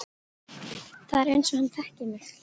Það er einsog hann þekki þig